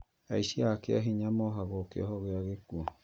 Aici a kĩa hinya maheagwo kĩohwo gĩa gĩkuũ